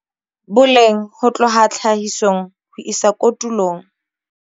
Boleng ho tloha tlhahisong ho isa kotulong